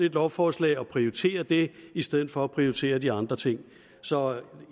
et lovforslag og prioriterer det i stedet for at prioritere de andre ting så